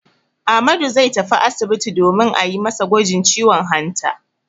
Ahmadu zai tafi asibiti domin a yi masa gwajin ciwon hanta.